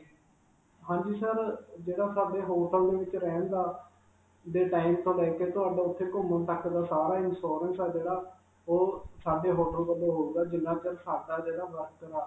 ਹਾਂਜੀ sir, ਜਿਹੜਾ ਸਾਡੇ hotel ਦੇ ਵਿਚ ਰਹਿਣ ਦਾ, ਦੇ time ਤੋਂ ਲੈ ਕੇ ਤੁਹਾਡਾ ਉਥੇ ਘੁਮੰਣ ਤੱਕ ਦਾ ਸਾਰਾ ਹੀ insurance ਹੈ ਜਿਹੜਾ ਉਹ ਸਾਡੇ hotel ਵਲੋਂ ਹੋਵੇਗਾ ਜਿੰਨਾ ਚਿਰ ਸਾਡਾ